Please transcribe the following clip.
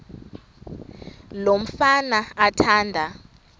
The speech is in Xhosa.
lo mfana athanda